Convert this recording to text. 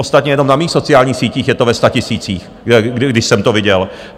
Ostatně jenom na mých sociálních sítích je to ve statisících, když jsem to viděl.